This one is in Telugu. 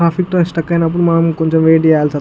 ట్రాఫిక్ లో స్టక్ అయినప్పుడు మనం కొంచెం వెయిట్ చేయాల్సి ఉంటు --